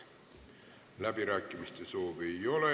Läbirääkimiste soovi ei ole.